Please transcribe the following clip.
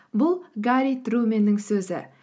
бұл гарри труменнің сөзі